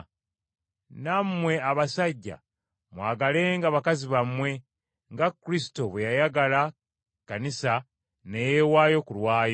Nammwe abaami mwagalenga bakyala bammwe nga Kristo bwe yayagala Ekkanisa ne yeewaayo ku lwayo.